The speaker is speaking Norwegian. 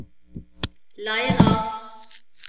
Leira